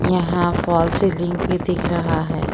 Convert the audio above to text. यहां false ceiling भी दिख रहा है।